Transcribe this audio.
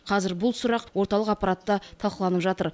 қазір бұл сұрақ орталық аппаратта талқыланып жатыр